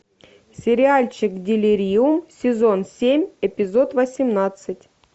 сериальчик делириум сезон семь эпизод восемнадцать